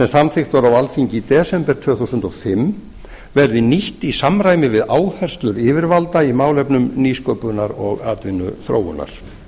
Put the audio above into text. samþykkt var á alþingi í desember tvö þúsund og fimm verði nýtt í samræmi við áherslur yfirvalda í málefnum nýsköpunar og atvinnuþróunar